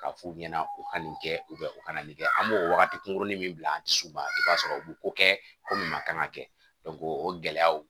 K'a f'u ɲɛna u ka nin kɛ u kana nin kɛ an b'o wagati kunkurunin min bila an dusu ma i b'a sɔrɔ u bɛ ko kɛ ko min ma kan ka kɛ o gɛlɛyaw